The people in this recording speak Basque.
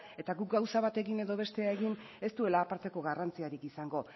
eta guk gauza batekin edo bestea egin ez duela aparteko garrantzirik izango